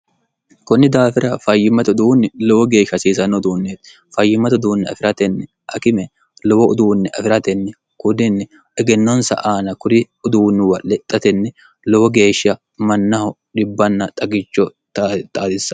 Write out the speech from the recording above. kunni daafira fayyimmatu uduunni lowo geeshsha hasiisanno uduunneeti fayyimmatu uduunni afi'ratenni akime lowo uduunni afi'ratenni kudinni egennonsa aana kuri uduunniwa lexxatenni lowo geeshsha mannaho dhibbanna xagicho xaatissan